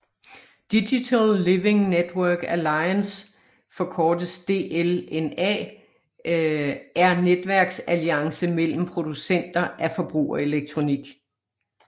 Digital Living Network Allicance forkortes DLNA er netværksalliance mellem producenter af forbrugerelektronik